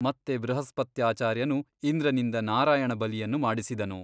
ಮತ್ತೆ ಬೃಹಸ್ಪತ್ಯಾಚಾರ್ಯನು ಇಂದ್ರನಿಂದ ನಾರಾಯಣ ಬಲಿಯನ್ನು ಮಾಡಿಸಿದನು.